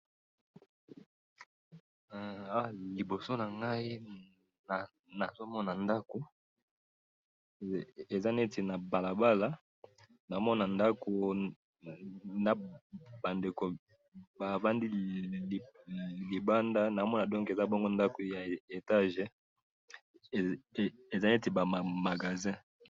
hee awa liboso nangayi he nazo mona ndaku eza neti na balabala nazo mona ndadu na bandeko bavandi libanda nazomona bongo eza neti bongo ndaku ya etage eza neti ba ba magazin.